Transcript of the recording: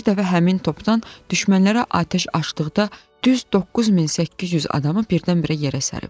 Bir dəfə həmin topdan düşmənlərə atəş açdıqda düz 9800 adamı birdən-birə yerə sərib.